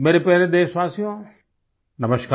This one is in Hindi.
मेरे प्यारे देशवासियो नमस्कार